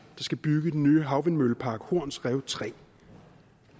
skal bygge den nye havvindmøllepark horns rev tre